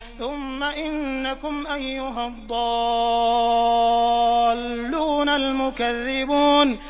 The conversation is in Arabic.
ثُمَّ إِنَّكُمْ أَيُّهَا الضَّالُّونَ الْمُكَذِّبُونَ